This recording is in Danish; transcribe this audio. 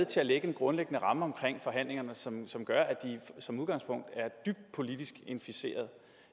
til at lægge en grundlæggende ramme omkring forhandlingerne som som gør at de som udgangspunkt er dybt politisk inficeret